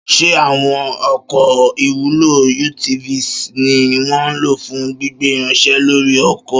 Ṣé àwọn ọkọ̀ ìwúlò (UTVs) ni wọ́n ń lò fún gbígbé irinṣẹ́ lórí oko?